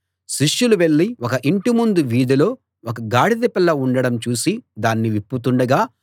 శిష్యులు వెళ్ళి ఒక ఇంటి ముందు వీధిలో ఒక గాడిద పిల్ల ఉండడం చూసి దాన్ని విప్పుతుండగా